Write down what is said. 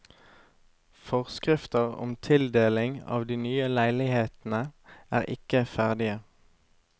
Forskrifter om tildeling av de nye leilighetene er ikke ferdige.